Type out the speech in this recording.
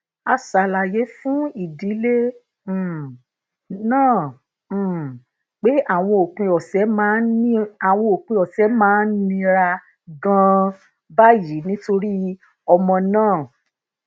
a ṣàlàyé fún ìdílé um náà um pé àwọn òpin òsè máa ń nira ganan báyìí nítorí ọmọ náà